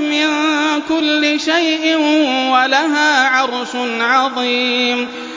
مِن كُلِّ شَيْءٍ وَلَهَا عَرْشٌ عَظِيمٌ